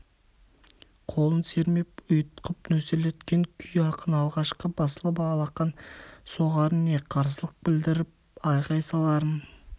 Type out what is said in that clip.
қолын сермеп ұйытқып нөсерлеткен күй ақын алғашқы басылып алақан соғарын не қарсылық білдіріп айғай саларын